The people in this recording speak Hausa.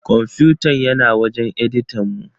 Kwamfutan yana wajen editan mu.